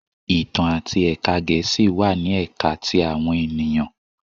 Itan ati Ẹka Gẹẹsi wa ni Ẹka ti awọn eniyan